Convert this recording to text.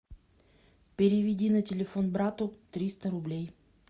переведи на телефон брату триста рублей